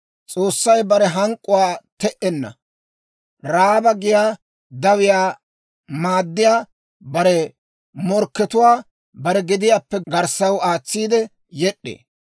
S'oossay bare hank'k'uwaa te"enna; Ra'aaba giyaa dawiyaa maaddiyaa bare morkkatuwaa bare gediyaappe garssaw aatsiide yed'd'ee.